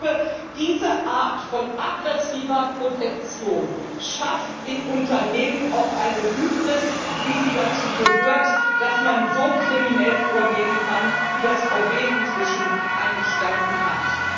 Und ich glaube, diese Art von aggressiver Protektion schafft in Unternehmen auch eine Hybris, wie sie dazu gehört, dass man so kriminell vorgehen kann, wie das VW inzwischen eingestanden hat.